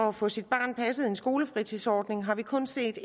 at få sit barn passet i en skolefritidsordning har vi kun set